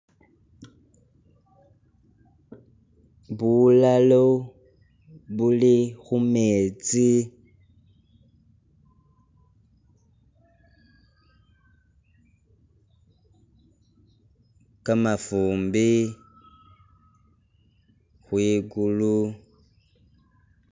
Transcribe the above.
Bulalo buli khumetsi, kamafumbi, khwikulu,...